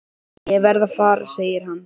Ég verð að fara segir hann.